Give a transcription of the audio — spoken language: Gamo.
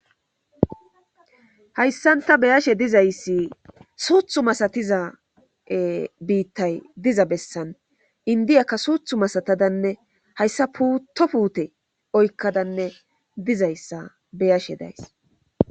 Hayssan ta be7ashe dizayssi suuthu masatiza biitay ee diza bessan inddiyaka suuthu masaatazanne hayssa puutto puute oykadanne bizayssa beyashe days